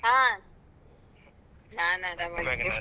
ಹಾ ನಾನ್ ಆರಾಮ್